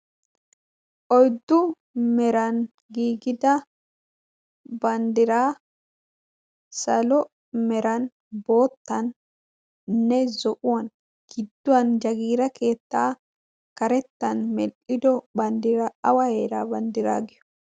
oyddu meran gigida banddiraa salo meran boottannne zo'uwan gidduwan jagiira keettaa karettan mel'ido banddiraa awa eeraa banddiraa giyo